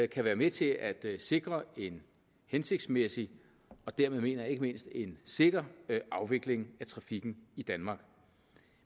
kan være med til at sikre en hensigtsmæssig og dermed mener jeg ikke mindst en sikker afvikling af trafikken i danmark